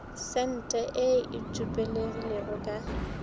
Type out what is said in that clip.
sente ye e tsupegilego ka